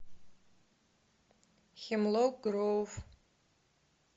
хемлок гроув